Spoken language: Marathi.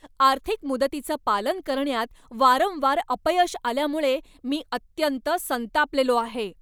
आर्थिक मुदतीचं पालन करण्यात वारंवार अपयश आल्यामुळे मी अत्यंत संतापलेलो आहे.